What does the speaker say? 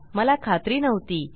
मला खात्री नव्हती